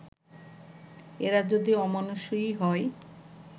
এরা যদি অমানুষই হয়